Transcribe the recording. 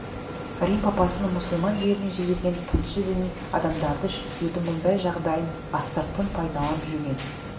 рим папасының мұсылман жеріне жіберген тыңшы-діни адамдары шіркеудің мұндай жағдайын астыртын пайдаланып жүрген